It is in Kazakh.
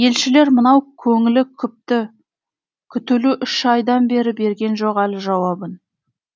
елшілер мынау көңілі күпті күтулі үш айдан бері берген жоқ әлі жауабын